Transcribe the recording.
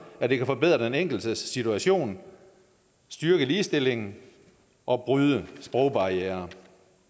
at det kan forbedre den enkeltes situation styrke ligestillingen og bryde sprogbarrieren